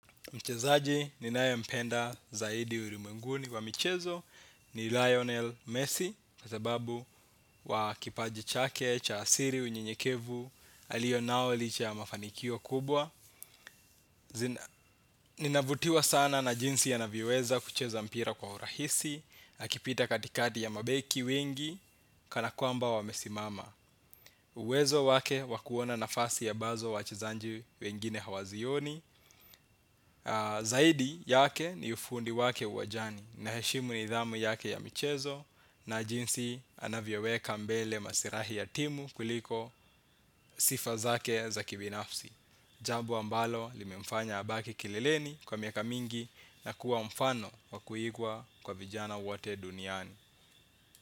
Mchezaji ninaempenda zaidi urimwenguni wa michezo ni Lionel Messi na zababu wa kipaji chake cha asiri, unyenyekevu alionao licha ya mafanikio kubwa. Ninavutiwa sana na jinsi anavyoweza kucheza mpira kwa urahisi, akipita katikati ya mabeki wengi kana kwamba wamesimama. Uwezo wake wa kuona nafasi ambazo wachezanji wengine hawazioni. Zaidi, yake, ni ufundi wake uwajani naheshimu nidhamu yake ya michezo na jinsi anavyoweka mbele masirahi ya timu, kuliko sifa zake za kibinafsi. Jabo ambalo limemfanya abaki kileleni, kwa miaka mingi na kuwa mfano wakuiigwa kwa vijana wate duniani.